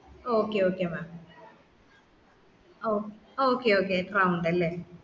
okay okay mam okay okay round അല്ലെ